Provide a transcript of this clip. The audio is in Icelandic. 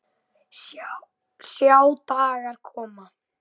Sjá dagar koma